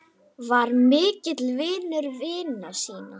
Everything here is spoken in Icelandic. Var mikill vinur vina sína.